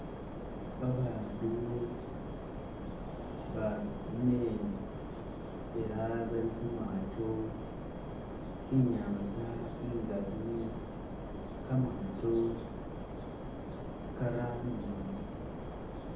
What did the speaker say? Babandu baane ela bali khu maato inyanza ingali ga maato garano